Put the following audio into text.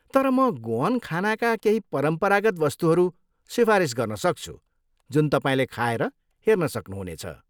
तर म गोअन खानाका केही परम्परागत वस्तुहरू सिफारिस गर्न सक्छु जुन तपाईँले खाएर हेर्न सक्नु हुनेछ।